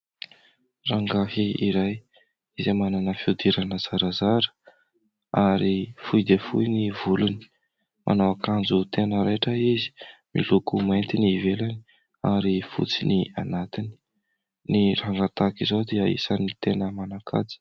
Rangahy iray izay manana fiodirana zarazara ary fohy dia fohy ny volony; manao akanjo tena raitra izy, miloko mainty ny ivelany ary fotsy ny anatiny. Ny rangahy tahaka izao dia isan'ny tena manan-kaja.